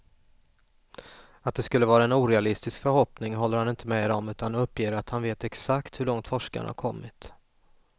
Att det skulle vara en orealistisk förhoppning håller han inte med om, utan uppger att han vet exakt hur långt forskarna har kommit.